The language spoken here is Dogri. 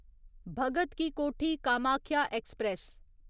भगत की कोठी कामाख्या एक्सप्रेस